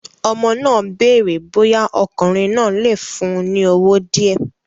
Ọmọ náà béèrè bóyá ọkùnrin náà lè fún un ní owó díẹ̀